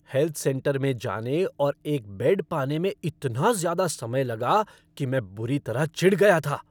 Health centre में जाने और एक बेड पाने में इतना ज़्यादा समय लगा कि मैं बुरी तरह चिढ़ गया था।